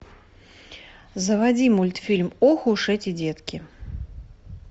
заводи мультфильм ох уж эти детки